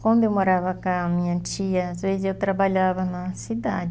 Quando eu morava com a minha tia, às vezes eu trabalhava na cidade.